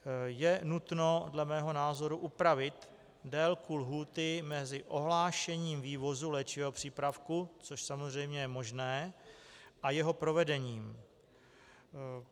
Je nutno dle mého názoru upravit délku lhůty mezi ohlášením vývozu léčivého přípravku, což samozřejmě je možné, a jeho provedením.